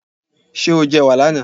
Ṣé o jẹ ẹ̀wà là na?